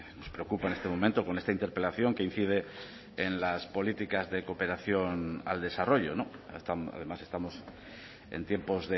nos preocupa en este momento con esta interpelación que incide en las políticas de cooperación al desarrollo además estamos en tiempos